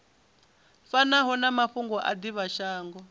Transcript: fanaho na mafhungo a divhashango